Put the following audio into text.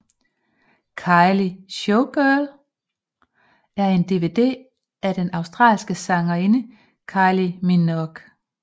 Kylie Showgirl er en DVD af den australske sangerinde Kylie Minogue